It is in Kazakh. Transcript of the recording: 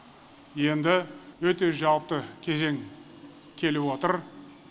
енді өте жауапты кезең келіп отыр